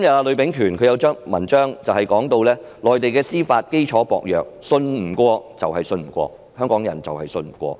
呂秉權今天發表的一篇文章提到內地司法基礎薄弱，信不過就是信不過，而香港人就是信不過它。